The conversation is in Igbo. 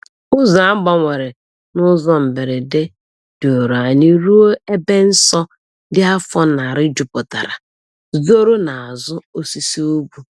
Ụzọ a gbanwere n’ụzọ mberede duru anyị ruo ebe nsọ dị afọ narị juputara, zoro n’azụ osisi ugwu.